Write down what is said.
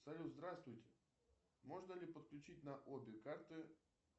салют здравствуйте можно ли подключить на обе карты